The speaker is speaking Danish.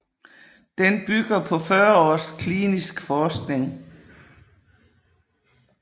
Den bygger på 40 års klinisk forskning